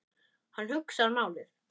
Hann hugsar málið.